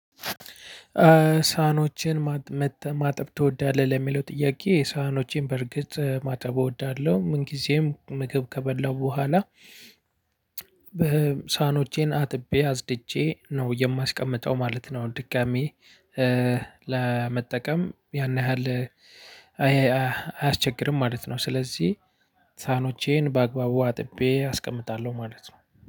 ሳህኖችን ማጠብ ትወዳለህ ለሚለው ጥያቄ ሳህኖቼን በርግጥ ማጠብ እወዳለሁ። ምን ጊዜም ምግብ ከበላሁ በኋላ በሳህኖቼን አጥቤ አጽድቼ ነው የማስቀምጠው ማለት ነው። ድጋሚ ለመጠቀም ያን ያህል አያስቸግርም ማለት ነው። ስለዚህ ሳህኖቼን በአግባቡ አጥቤ አስቀምጣለሁ ማለት ነው።